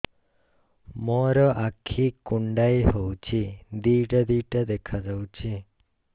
ମୋର ଆଖି କୁଣ୍ଡାଇ ହଉଛି ଦିଇଟା ଦିଇଟା ଦେଖା ଯାଉଛି